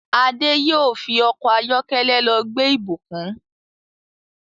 Ade yóò fí Ọkọ̀ ayọ́kẹ́lẹ́ ló gbé Ibukun.